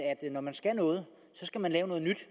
når man skal noget skal man lave noget nyt